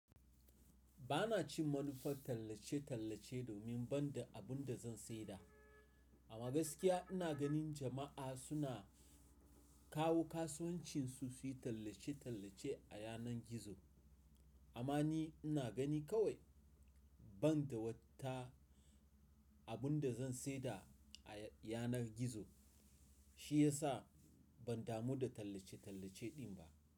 Ba na cin manufar tallace-tallace domin ban da abin da zan saida. A gaskiya ina ganin jama'a suna kawo kasuwancinsu su yi tallace-tallace a yanar gizo. Amma ni ina gani kawai ban da wata abin da zan saida a yanar gizo shiyasa ban damu da tallace-tallace din ba.